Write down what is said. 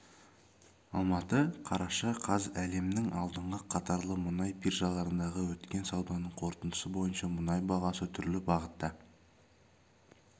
алматы қараша қаз әлемнің алдыңғы қатарлы мұнай биржаларындағы өткен сауданың қорытындысы бойынша мұнай бағасы түрлі бағытта